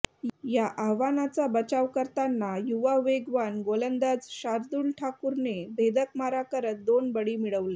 या आव्हानाचा बचाव करताना युवा वेगवान गोलंदाज शार्दुल ठाकूरने भेदक मारा करत दोन बळी मिळवले